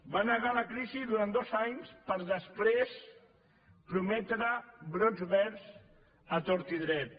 va negar la crisi durant dos anys per després prometre brots verds a tort i a dret